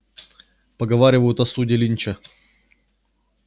поговаривают о суде линча